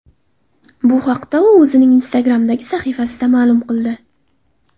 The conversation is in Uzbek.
Bu haqda u o‘zining Instagram’dagi sahifasida ma’lum qildi.